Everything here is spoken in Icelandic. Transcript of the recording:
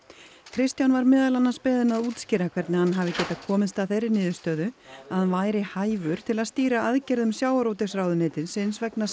Kristján var meðal annars beðinn að útskýra hvernig hann hafi getað komist að þeirri niðurstöðu að hann væri hæfur til að stýra aðgerðum sjávarútvegsráðuneytisins vegna